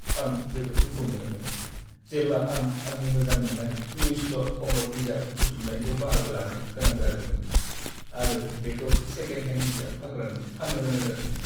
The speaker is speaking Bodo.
आं जोबोद दुखु मोनोमोन, जेब्ला आं आंनि मोजां मोननाय लुइस ल' आम'र बिजाब बुथुमनायखौ बाहागो लानो गोनां जादोंमोन आरो बेखौ सेकेन्ड हेन्ड बिजाब फानग्रानो फान्नो गोनां जादोंमोन।